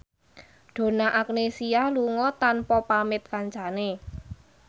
Donna Agnesia lunga tanpa pamit kancane